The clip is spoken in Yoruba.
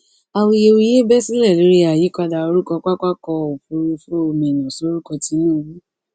awuyewuye bẹ sílẹ lórí àyípadà orúkọ pápákọ òfurufú minna sórúkọ tinubu